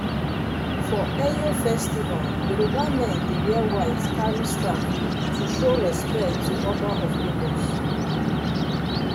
for eyo festival yoruba men dey wear white carry staff to show respect to oba of lagos.